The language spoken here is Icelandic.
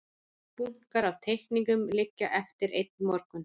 Bunkar af teikningum liggja eftir einn morgun.